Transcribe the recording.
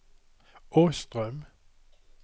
Åström